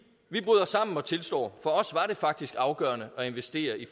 vi bryder sammen og tilstår for os var det faktisk afgørende at investere i